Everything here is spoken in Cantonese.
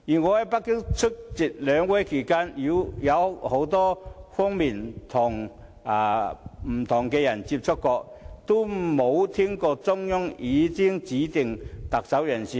我在北京出席兩會期間，曾與很多不同人士接觸，但從未聽聞中央已有指定特首人選。